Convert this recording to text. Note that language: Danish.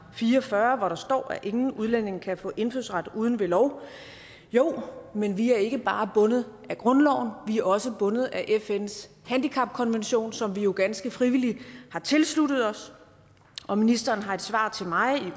fire og fyrre hvor der står at ingen udlænding kan få indfødsret uden ved lov jo men vi er ikke bare bundet af grundloven vi er også bundet af fns handicapkonvention som vi jo ganske frivilligt har tilsluttet os og ministeren har i et svar til mig i